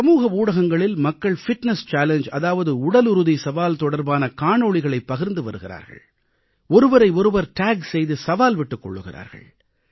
சமூக ஊடகங்களில் மக்கள் ஃபிட்னஸ் சேலஞ்ஜ் பிட்னெஸ் சாலெங்கே அதாவது உடலுறுதி சவால் தொடர்பான காணொளிகளைப் பகிர்ந்து வருகிறார்கள் ஒருவரை ஒருவர் டேக் செய்து சவால் விட்டுக் கொள்கிறார்கள்